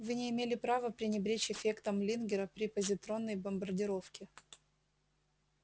вы не имели права пренебречь эффектом лингера при позитронной бомбардировке